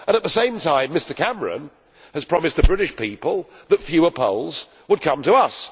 At the same time, Mr Cameron has promised the British people that fewer Poles would come to us.